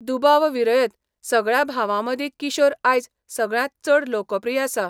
दुबावविरयत, सगळ्या भावांमदीं किशोर आयज सगळ्यांत चड लोकप्रिय आसा.